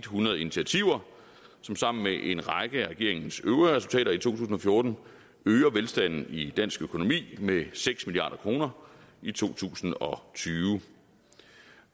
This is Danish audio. hundrede initiativer som sammen med en række af regeringens øvrige resultater i to tusind og fjorten øger velstanden i dansk økonomi med seks milliard kroner i to tusind og tyve